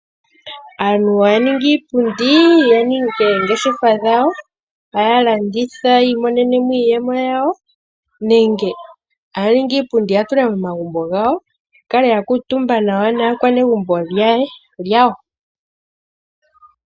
Aantu ohaya ningi iipundi ya ninge oongeshefa dhawo, haya landitha yi imonenemo iiyemo yawo nenge haya ningi iipundi ya tule momagumbo gawo ya kale ya kuutumba nawa naakwanegumbo yawo.